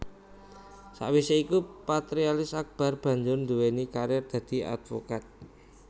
Sakwisé iku Patrialis Akbar banjur nduwéni karir dadi advokat